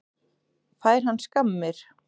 Fær hann skammir?